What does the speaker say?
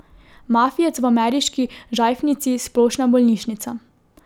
Mafijec v ameriški žajfnici Splošna bolnišnica.